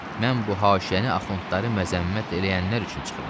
Mən bu haşiyəni axundları məzəmmət eləyənlər üçün çıxıram.